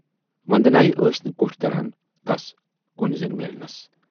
وندنایہِ ٲسۍ نہٕ کوٹھۍ دران تَس کُنۍ زٔنۍ میلنس۔